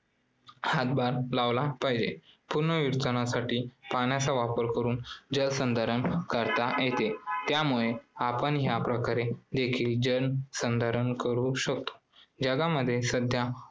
हातभार लावला पाहिजे. पुनर्वितरणासाठी पाण्याचा वापर करून जलसंधारण करता येते त्यामुळे आपण या प्रकारे देखील जल संधारण करू शकतो. जगामध्ये सध्या